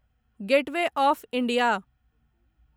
gateway of India